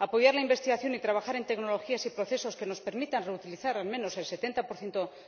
Apoyar la investigación y trabajar en tecnologías y procesos que nos permitan reutilizar al menos el 70